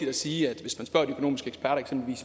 at sige at